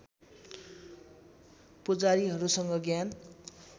पुजारिहरूसँग ज्ञान